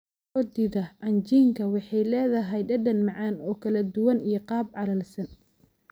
Roodhida cajiinka waxay leedahay dhadhan macaan oo kala duwan iyo qaab calalsan.